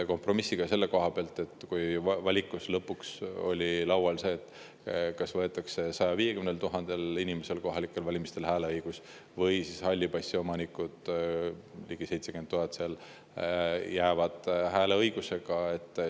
Kompromiss on selle koha pealt, et valikus lõpuks oli laual see, kas võetakse 150 000 inimeselt kohalikel valimistel hääleõigus või siis halli passi omanikud, ligi 70 000 inimest, jäävad hääleõigusega.